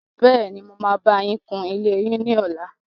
Bẹ́ẹ́ni, mo máa bá yín kun ilé yín ní ọlá.